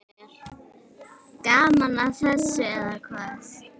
Gaman að þessu, eða hvað?